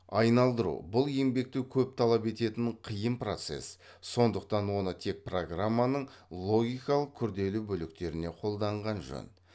айналдыру бұл еңбекті көп талап ететін қиын процесс сондықтан оны тек программаның логикалық күрделі бөліктеріне қолданған жөн